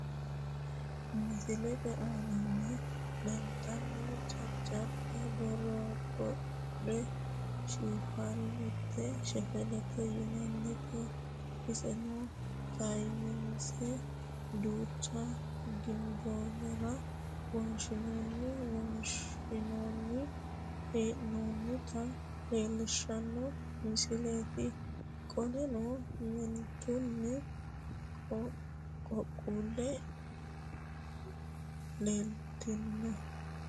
misilete aanaanni leelitaatti jajaba baribare shefeleti yinannite iseno tataayinsse duucha ginboollara wonshinenna wonshshinanni hee'noonnita leellishanno misileeti qoleno meentunna qaaquullu leellitanno